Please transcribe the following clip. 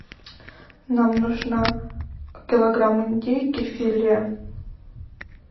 нам нужно килограмм индейки филе